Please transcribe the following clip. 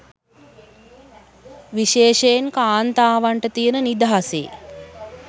විශේෂයෙන් කාන්තාවන්ට තියන නිදහසේ